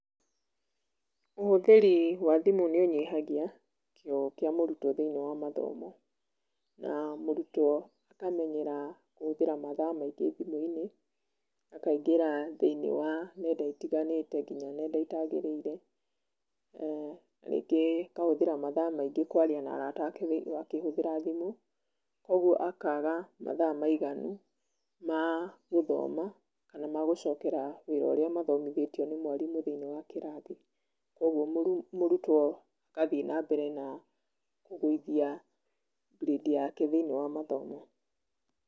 Ũhũthĩri wa thimũ nĩũnyihagia kĩo kĩa mũrutwo thĩiniĩ wa mathomo na mũrutwo akamenyera gwĩkĩra mathaa maingĩ thimũ-inĩ, akangĩra thĩiniĩ wa nenda itiganĩte, nginya nenda itagĩrĩire, rĩngĩ akahũthĩra mathaa maingĩ kwaria na arata ake akĩhũthĩra thimũ, ũguo akaga mathaa maiganu magũthoma, ma gũcokera wĩra urĩa mathomithĩtio nĩ mwarimũ thĩiniĩ wa kĩrathi, ũguo mũrutwo agathiĩ na mbere na kũgũithia grade yake thĩiniĩ wa mathomo.